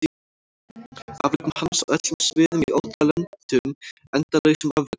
Afrekum hans á öllum sviðum í ótal löndum endalausum afrekum hans?